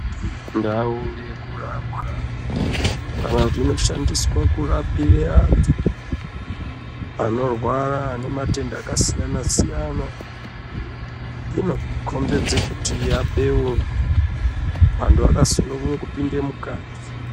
Ndau yekurapwa kana kuti inoshandiswe kurapire antu, anorwara ane matenda akasiyana-siyana, inokhombidze kuti yabeurwa, antu akasununguke kupinde mukati.